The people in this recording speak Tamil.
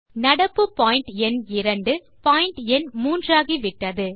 நடப்பு பாயிண்ட் எண் இரண்டு பாயிண்ட் எண் 3 ஆகிவிட்டது